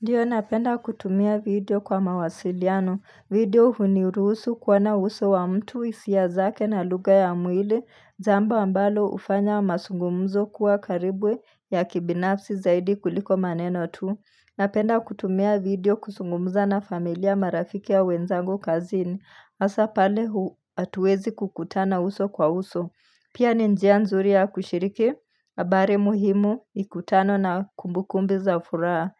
Ndiyo napenda kutumia video kwa mawasiliano. Video huniruhusu kuona uso wa mtu hisia zake na lugha ya mwili. Jambo ambalo hufanya masungumuzo kuwa karibu ya kibinafsi zaidi kuliko maneno tu. Napenda kutumia video kusungumza na familia marafiki au wenzangu kazini. Asa pale hu atuezi kukutana uso kwa uso. Pia ni njia nzuri ya kushiriki. Abari muhimu mikutano na kumbukumbu za furaha.